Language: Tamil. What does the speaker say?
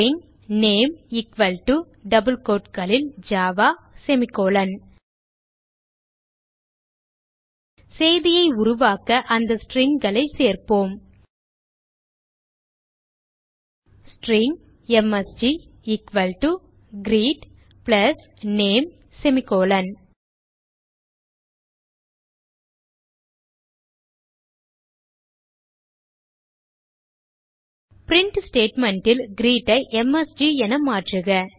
string name equal to Java செய்தியை உருவாக்க அந்த stringகளை சேர்ப்போம் string M S G equal to greet plus name print statement ல் greet ஐ எம்எஸ்ஜி என மாற்றுக